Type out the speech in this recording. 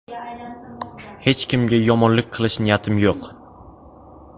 Hech kimga yomonlik qilish niyatim yo‘q.